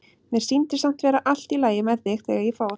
Mér sýndist samt vera allt í lagi með þig þegar ég fór.